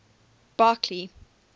barkly